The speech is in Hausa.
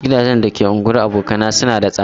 Gidajen da ke unguwar abokaina suna da tsada.